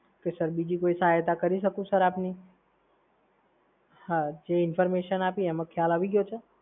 તો સર બીજી કોઈ સહાયતા કરી શકું સર આપની? હા, જે information આપી એમાં ખ્યાલ આવી ગયો છે?